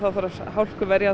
þarf að hálkuverja